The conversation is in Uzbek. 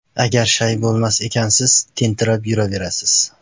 Agar shay bo‘lmas ekansiz, tentirab yuraverasiz.